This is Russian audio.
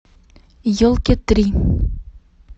елки три